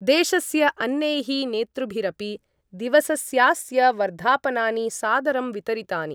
देशस्य अन्यैः नेतृभिरपि दिवसस्यास्य वर्धापनानि सादरं वितरितानि।